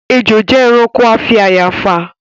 Ejò jẹ́ ẹranko afi àyààfà